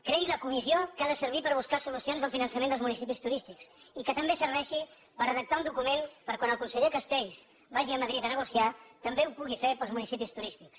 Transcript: creï la comissió que ha de servir per buscar solucions al finançament dels municipis turístics i que també serveixi per redactar un document perquè quan el conseller castells vagi a madrid a negociar també ho pugui fer pels municipis turístics